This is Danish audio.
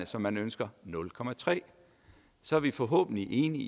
som man ønsker så er vi forhåbentlig enige